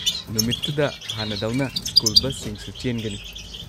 ꯅꯨꯃꯤꯠꯇꯨꯗ ꯍꯥꯟꯅꯗꯧꯅ ꯁ꯭ꯀꯨꯜ ꯕꯁꯁꯤꯡꯁꯨ ꯆꯦꯟꯒꯅꯤ꯫